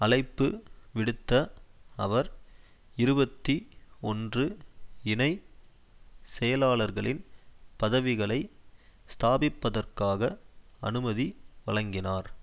அழைப்பு விடுத்த அவர் இருபத்தி ஒன்று இணை செயலாளர்களின் பதவிகளை ஸ்தாபிப்பதற்காக அனுமதி வழங்கினார்